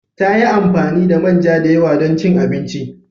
Ta yi amfani da manja da yawa don cin abinci.